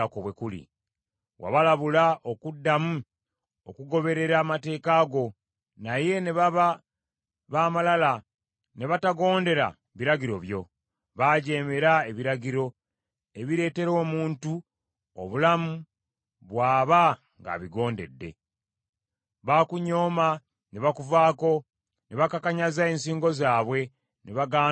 “Wabalabula okuddamu okugoberera amateeka go, naye ne baba b’amalala, ne batagondera biragiro byo. Baajeemera ebiragiro, ebireetera omuntu obulamu bw’aba ng’abigondedde. Baakunyooma ne bakuvaako, ne bakakanyaza ensingo zaabwe, ne bagaana okuwulira.